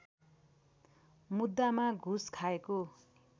मुद्दामा घुस खाएको